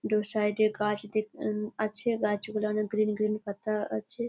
দু সাইড -এ গাছ দি- হুম- আছে। গাছ গুলোয় অনেক গ্রীন গ্রীন পাতা আছে।